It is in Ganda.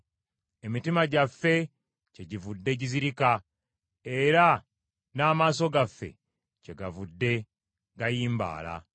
Emitima gyaffe kyegivudde gizirika, era n’amaaso gaffe kyegavudde gayimbaala.